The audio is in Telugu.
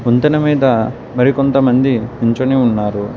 వంతెన మీద మరికొంతమంది నించొని ఉన్నారు.